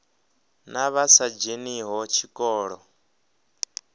na vha sa dzheniho tshikolo